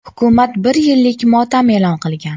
Hukumat bir yillik motam e’lon qilgan.